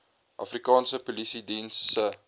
afrikaanse polisiediens se